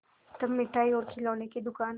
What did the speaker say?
तब मिठाई और खिलौने की दुकान